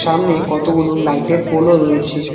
সামনে কতগুলো লাইটের পোলও রয়েছে।